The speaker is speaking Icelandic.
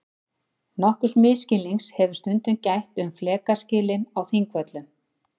Nokkurs misskilnings hefur stundum gætt um flekaskilin á Þingvöllum.